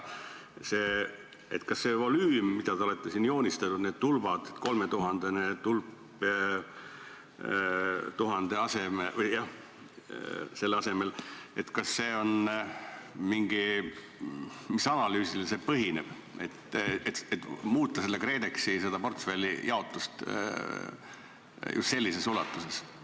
See volüüm, mida te olete siin joonistanud, need tulbad, kolmetuhandeline tulp tuhandese asemel, mis analüüsil see põhineb, kui muuta KredExi portfelli jaotust just sellises ulatuses?